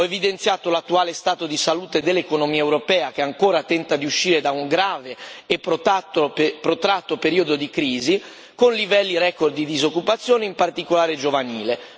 Ho evidenziato l'attuale stato di salute dell'economia europea, che ancora tenta di uscire da un grave e protratto periodo di crisi, con livelli record di disoccupazione, in particolare giovanile.